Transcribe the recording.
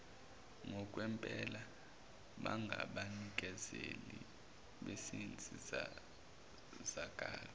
ngokwempela bangabanikezeli bezinsizakalo